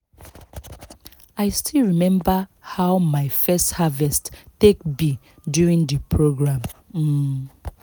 i still remember how my first harvest take be during the programme um